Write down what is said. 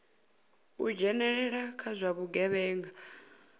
u dzhenelela kha zwa vhugevhenga